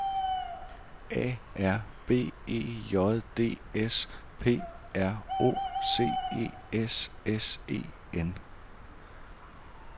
A R B E J D S P R O C E S S E N